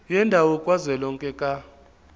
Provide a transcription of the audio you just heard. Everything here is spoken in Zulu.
yendawo kazwelonke ka